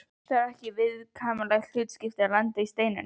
Það var ekki kvíðvænlegt hlutskipti að lenda í Steininum.